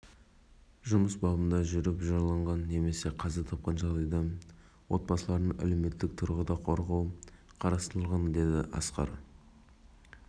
ағымдағы заңнамаға сәйкес аталған сала жұмысшыларына мал жаю және пішен шабу үшін жер телімдерін беру сондай-ақ